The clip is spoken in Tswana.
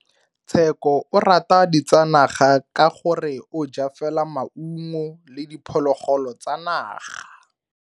Tsheko o rata ditsanaga ka gore o ja fela maungo le diphologolo tsa naga.